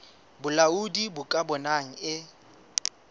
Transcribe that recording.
bolaodi bo ka bonang e